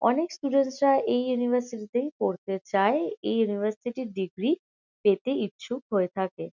অনেক স্টুডেন্টস -রা এই ইউনিভার্সিটি -তেই পড়তে চায়। এই ইউনিভার্সিটি -র ডিগ্রি পেতে ইচ্ছুক হয়ে থাকে।